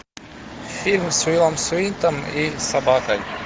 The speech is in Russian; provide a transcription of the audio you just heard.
фильм с уиллом смитом и собакой